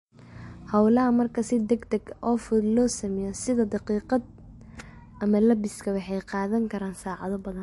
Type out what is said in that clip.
Hawlaha marka si degdeg ah oo fudud loo sameeyo, sida dhaqidda ama labiska, waxay qaadan karaan saacado badan.